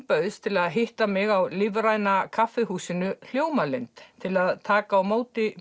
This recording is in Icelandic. bauðst til að hitta mig á lífræna kaffihúsinu Hljómalind til að taka á móti